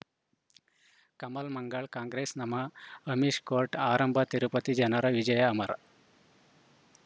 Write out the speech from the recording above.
ಕಮಲ್ ಮಂಗಳ್ ಕಾಂಗ್ರೆಸ್ ನಮಃ ಅಮಿಷ್ ಕೋರ್ಟ್ ಆರಂಭ ತಿರುಪತಿ ಜನರ ವಿಜಯ ಅಮರ್